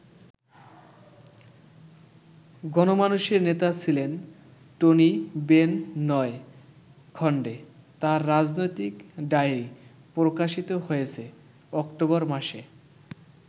গণমানুষের নেতা ছিলেন টনি বেন নয় খন্ডে তাঁর রাজনৈতিক ডায়রি প্রকাশিত হয়েছে অক্টোবর মাসে।